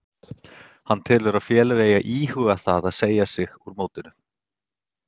Hann telur að félög eigi að íhuga það að segja sig úr mótinu.